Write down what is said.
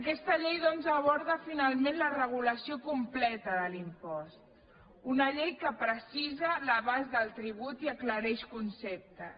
aquesta llei doncs aborda finalment la regulació completa de l’impost una llei que precisa l’abast del tribut i aclareix conceptes